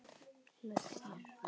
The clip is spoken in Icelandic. Með þér.